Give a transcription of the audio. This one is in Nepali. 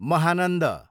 महानन्द